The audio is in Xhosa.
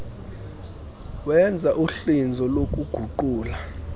wenza uhlinzo lokuguqula